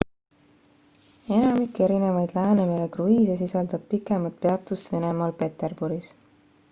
enamik erinevaid läänemere kruiise sisaldab pikemat peatust venemaal peterburis